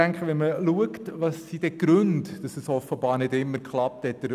Welches sind nun die Gründe dafür, dass es offenbar nicht immer geklappt hat?